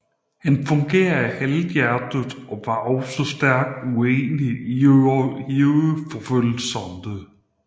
Han fungerede halvhjertet og var også stærkt uenig i jødeforfølgelserne